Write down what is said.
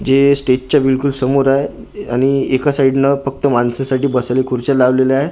जे स्टेजच्या बिलकुल समोर आहे आणि एका साईडला फक्त माणसांसाठी बसायला खुर्च्या लावलेल्या आहे दिस--